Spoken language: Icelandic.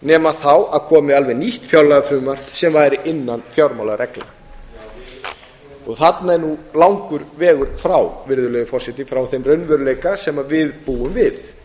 nema að komi alveg nýtt fjárlagafrumvarp sem væri innan fjármálareglna þarna er nú langur vegur frá virðulegur forseti frá þeim raunveruleika sem við búum við